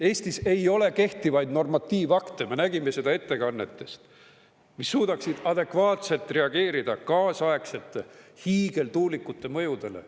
Eestis ei ole kehtivaid normatiivakte – me nägime seda ettekannetest –, mis suudaksid adekvaatselt reageerida kaasaegsete hiigeltuulikute mõjudele.